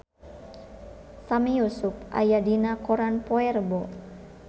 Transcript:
Sami Yusuf aya dina koran poe Rebo